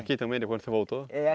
Aqui também, depois que você voltou? É